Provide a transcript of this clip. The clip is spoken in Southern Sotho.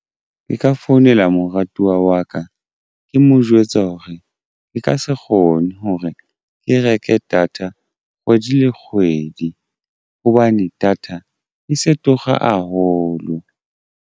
Ke ka founela moratuwa wa ka ke mo jwetse hore e ke se kgone hore ke reka data kgwedi le kgwedi hobane data e se tura haholo.